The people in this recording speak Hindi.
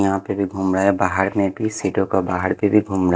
यहाँ पे भी घूम रहा है बाहर में भी सीटों का बाहर पे भी घूम रा --